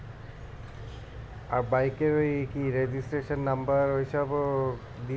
আর bike এর ওই কি registration number ওই সব ও দিতে হয়ে?